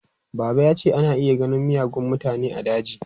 Baba ya ce ana iya ganin miyagun mutane a daji.